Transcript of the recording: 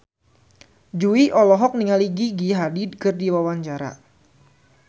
Jui olohok ningali Gigi Hadid keur diwawancara